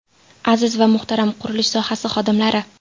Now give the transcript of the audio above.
Aziz va muhtaram qurilish sohasi xodimlari!